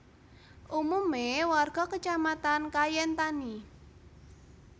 Umume warga kacamatan Kayen tani